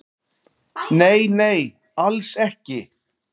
"""Nei, nei, alls ekki."""